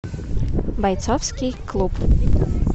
бойцовский клуб